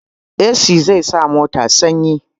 Esi zai sa mota sanyi